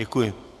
Děkuji.